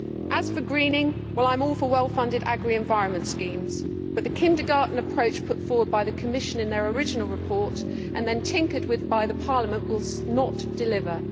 As for greening, I am all for well funded agri environment schemes, but the kindergarten approach put forward by the Commission in its original report and then tinkered with by Parliament will not deliver.